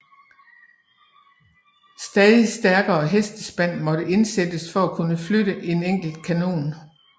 Stadig stærkere hestespand måtte indsættes for at kunne flytte en enkelt kanon